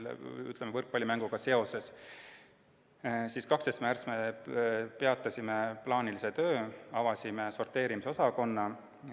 12. märtsil peatasime plaanilise töö, avasime sorteerimisosakonna.